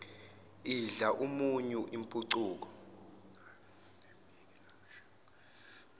idla umunyu impucuko